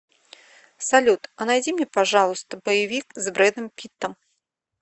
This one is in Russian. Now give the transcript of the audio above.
салют а найди мне пожалуйста боевик с брэдом питтом